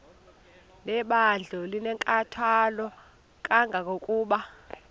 lebandla linenkathalo kangangokuba